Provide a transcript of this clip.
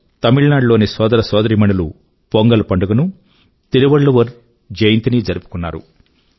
తమిళ నాడు లోని సోదర సోదరీమణులు పొంగల్ పండుగ ను తిరువళ్ళువర్ జయంతి నీ జరుపుకున్నారు